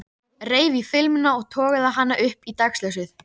Reif í filmuna og togaði hana upp í dagsljósið.